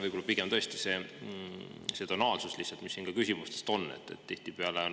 Pigem on tonaalsuses, mis siit küsimustest.